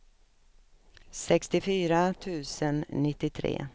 sextiofyra tusen nittiotre